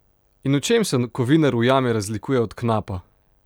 In v čem se kovinar v jami razlikuje od knapa?